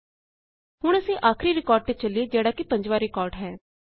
ਹੁਣ ਅਸੀਂ ਆਖਰੀ ਰਿਕਾਰਡ ਤੇ ਚਲਿਏ ਜਿਹਡ਼ਾ ਕਿ ਪੰਜਵਾ ਰਿਕਾਰਡ ਹੈ